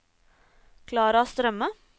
Klara Strømme